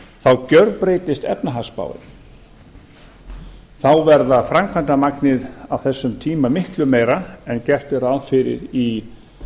þá gjörbreytist efnahagsspáin þá verður framkvæmdamagnið á þessum tíma miklu meira heldur en gert er ráð fyrir í